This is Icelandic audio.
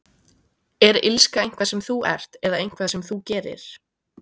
Er illska eitthvað sem þú ert, eða eitthvað sem þú gerir?